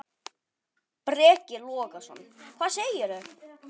Breki Logason: Hvað segir þú?